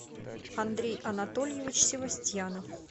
андрей анатольевич севастьянов